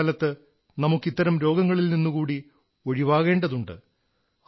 കൊറോണകാലത്ത് നമുക്ക് ഇത്തരം രോഗങ്ങളിൽ നിന്നുകൂടെ ഒഴിവാകേണ്ടതുണ്ട്